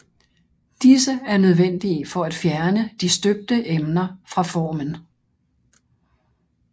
Disse er nødvendige for at fjerne de støbte emner fra formen